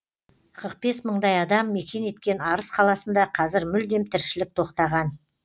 қырық бес мыңдай адам мекен еткен арыс қаласында қазір мүлдем тіршілік тоқтаған